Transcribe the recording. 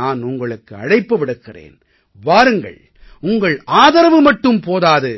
நான் உங்களுக்கு அழைப்பு விடுக்கிறேன் வாருங்கள் உங்கள் ஆதரவு மட்டும் போதாது